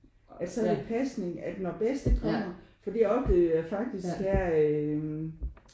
At så er det pasning at når bedste kommer fordi jeg oplevede jo faktisk der øh